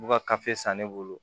U b'u ka san ne bolo